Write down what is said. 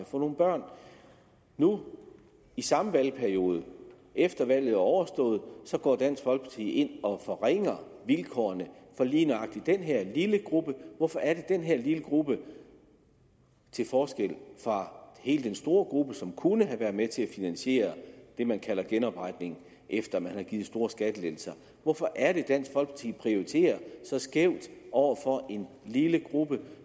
få nogle børn nu i samme valgperiode efter at valget er overstået går dansk folkeparti ind og forringer vilkårene for lige nøjagtig den her lille gruppe hvorfor er det den her lille gruppe til forskel fra hele den store gruppe som kunne have været med til at finansiere det man kalder genopretningen efter at man har givet store skattelettelser hvorfor er det dansk folkeparti prioriterer så skævt over for en lille gruppe